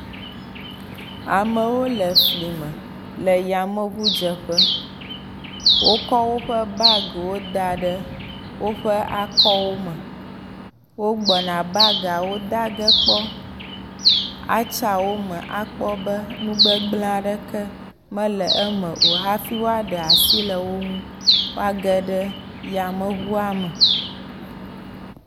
Amewo le fli me le yameŋudzeƒe. wokɔ woƒe bagiwo da ɖe woƒe akɔwo me. Wogbɔna gageawo dage kpɔ. Atsa wo me akpɔ be nugbegbles ɖeke melee me o hafi woaɖa si le wo ŋu. age ɖe yameŋua me.